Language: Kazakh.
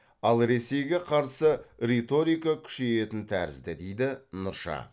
ал ресейге қарсы риторика күшейетін тәрізді дейді нұрша